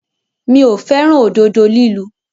Mi ò fẹ́ràn òdodo lílu.